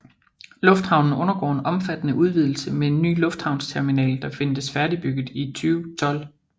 Lufthavnen undergår en omfattende udvidelse med en ny lufthavnsterminal der ventes færdigbygget i 2012